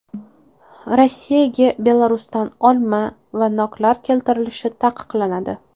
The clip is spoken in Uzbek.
Rossiyaga Belarusdan olma va noklar keltirilishi taqiqlanadi.